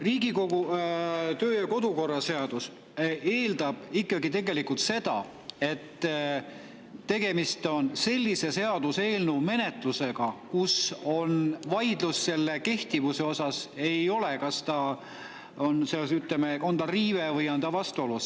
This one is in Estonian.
Riigikogu kodu- ja töökorra seadus eeldab ikkagi seda, et tegemist on sellise seaduseelnõuga, mille menetluses ei ole vaidlust selle üle, kas on riive või on ta vastuolus.